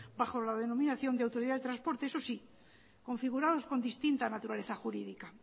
bajo la denominación de autoridad del transporte eso sí configurados con distinta naturaleza jurídica